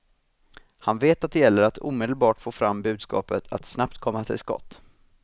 Han vet att det gäller att omedelbart få fram budskapet, att snabbt komma till skott.